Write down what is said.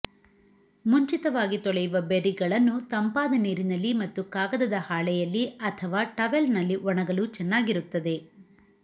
ಮುಂಚಿತವಾಗಿ ತೊಳೆಯುವ ಬೆರ್ರಿಗಳನ್ನು ತಂಪಾದ ನೀರಿನಲ್ಲಿ ಮತ್ತು ಕಾಗದದ ಹಾಳೆಯಲ್ಲಿ ಅಥವಾ ಟವೆಲ್ನಲ್ಲಿ ಒಣಗಲು ಚೆನ್ನಾಗಿರುತ್ತದೆ